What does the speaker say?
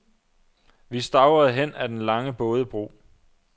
Vi stavrede hen ad den lange bådebro.